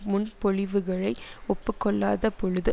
முன்பொழிவுகளை ஒப்புக்கொள்ளாத பொழுது